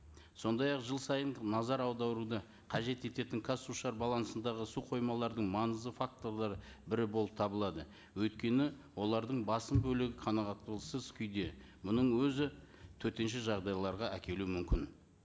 сондай ақ жыл сайын назар аударуды қажет ететін қазсушар балансындағы су қоймалардың маңызды факторлары бірі болып табылады өйткені олардың басым бөлігі күйде мұның өзі төтенше жағдайларға әкелуі мүмкін